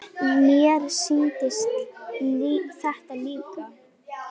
Mér sýndist þetta líka.